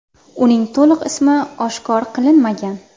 Uning to‘liq ismi oshkor qilinmagan.